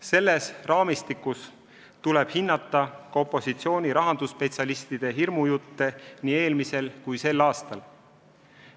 Selles raamistikus tuleb hinnata ka opositsiooni rahandusspetsialistide hirmujutte nii eelmisel kui sel aastal.